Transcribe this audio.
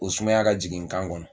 Ko sumaya ka jigin n kan kɔnɔ.